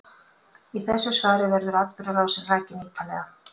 Í þessu svari verður atburðarásin rakin ítarlega.